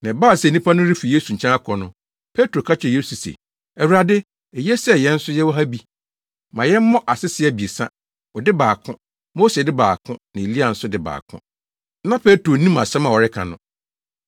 Na ɛbaa sɛ nnipa no refi Yesu nkyɛn akɔ no, Petro ka kyerɛɛ Yesu se, “Awurade, eye sɛ yɛn nso yɛwɔ ha bi. Ma yɛmmɔ asese abiɛsa; wo de baako, Mose de baako na Elia nso de baako.” Na Petro nnim asɛm a ɔreka no.